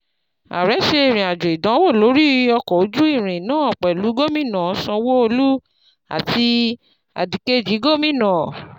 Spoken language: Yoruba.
Ààrẹ ṣe ìrìn àjò ìdánwò lórí ọkọ̀ ojú irin náà pẹ̀lú Gómìnà Sanwo-Olu àti Adìkejì Gómìnà